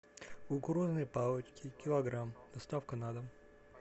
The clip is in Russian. кукурузные палочки килограмм доставка на дом